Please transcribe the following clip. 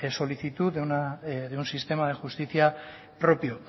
solicitud de un sistema de justicia propio